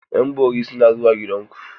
Ƴan bori suna zuwa gida ku.